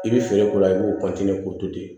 I bɛ feere k'o la i b'o k'o to ten